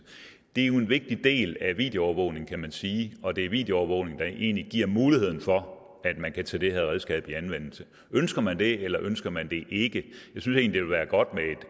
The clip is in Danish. det er jo en vigtig del af videoovervågning kan man sige og det er videoovervågning der egentlig giver muligheden for at man kan tage det her redskab i anvendelse ønsker man det eller ønsker man det ikke jeg synes egentlig være godt med